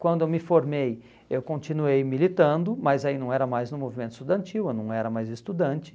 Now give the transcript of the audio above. Quando eu me formei, eu continuei militando, mas aí não era mais no movimento estudantil, eu não era mais estudante.